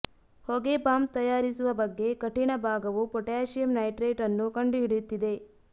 ಹೊಗೆ ಬಾಂಬ್ ತಯಾರಿಸುವ ಬಗ್ಗೆ ಕಠಿಣ ಭಾಗವು ಪೊಟ್ಯಾಸಿಯಮ್ ನೈಟ್ರೇಟ್ ಅನ್ನು ಕಂಡುಹಿಡಿಯುತ್ತಿದೆ